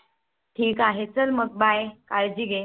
ल ठीक हे मग Bye काळजी घे